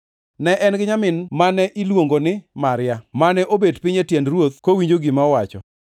Ne en gi nyamin mane iluongo ni Maria, mane obet piny, e tiend Ruoth kowinjo gima owacho.